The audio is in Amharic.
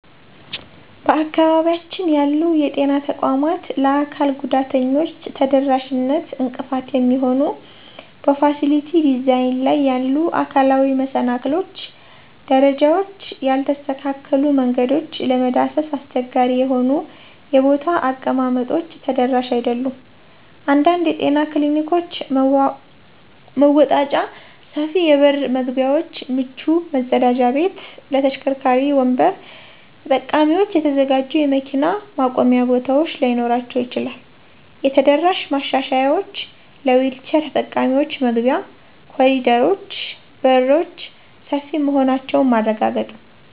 በአካባቢያችን ያሉ የጤና ተቋማት ለአካል ጉዳተኞች ተደራሽነት እንቅፋት የሚሆኑ በፋሲሊቲ ዲዛይን ላይ ያሉ አካላዊ መሰናክሎች - ደረጃዎች፣ ያልተስተካከሉ መንገዶች፣ ለመዳሰስ አስቸጋሪ የሆኑ የቦታ አቀማመጦች ተደራሽ አይደሉም። አንዳንድ የጤና ክሊኒኮች መወጣጫ፣ ሰፊ የበር መግቢያዎች፣ ምቹ መጸዳጃ ቤቶች ለተሽከርካሪ ወንበር ተጠቃሚዎች የተዘጋጁ የመኪና ማቆሚያ ቦታዎች ላይኖራቸው ይችላል። የተደራሽ ማሻሻያዎች - ለዊልቸር ተጠቃሚዎች መግቢያ፣ ኮሪደሮች፣ በሮች ሰፊ መሆናቸውን ማረጋገጥ፣